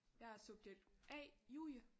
Jeg er subjekt A Julie